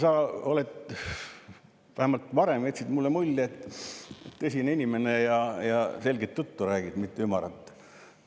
Kristen, sa vähemalt varem jätsid mulle mulje, et oled tõsine inimene ja räägid selget, mitte ümarat juttu.